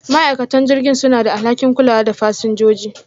ma'aikatan jirgin suna da alhakin kulawa da fasinjoji.